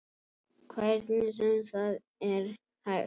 Hvernig sem það er hægt.